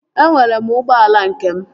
Enwere m ụgbọala nke m